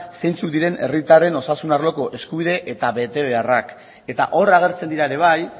zeintzuk diren herritarren osasun arloko eskubide eta betebeharrak eta hor agertzen dira ere bai